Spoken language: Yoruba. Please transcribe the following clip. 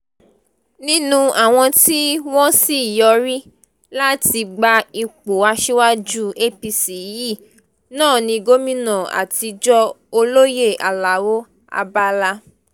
nínú àwọn tí wọ́n sì yọrí láti gba ipò aṣíwájú apc yìí náà ní gómìnà àtijọ́ olóyè alao abala